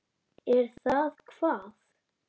Er það hvað.